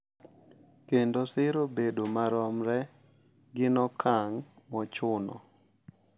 Kendo siro bedo maromre gin okang’ mochuno